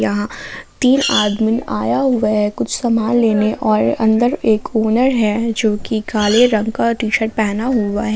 यहां तीन आदमी आया हुआ है कुछ सामान लेने और अंदर एक ओनर है जोकि काले रंग का टी शर्ट पहना हुआ है।